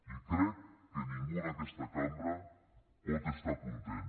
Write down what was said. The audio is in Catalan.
i crec que ningú en aquesta cambra pot estar content